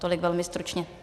Tolik velmi stručně.